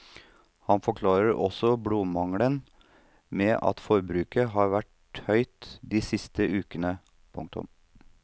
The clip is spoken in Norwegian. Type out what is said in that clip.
Han forklarer også blodmangelen med at forbruket har vært høyt de siste ukene. punktum